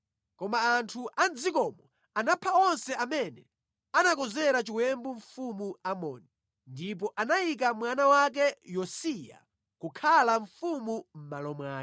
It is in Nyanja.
Koma anthu a mʼdzikomo anapha onse amene anakonzera chiwembu mfumu Amoni, ndipo anayika mwana wake Yosiya kukhala mfumu mʼmalo mwake.